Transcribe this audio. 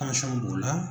b'o la